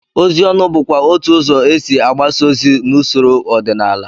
Ozi ọnụ bụkwa otú ụzọ e si agbasa ozi n'usoro ọdịnala